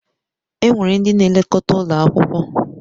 Enwere ndị na-elekọta ụlọ akwụkwọ.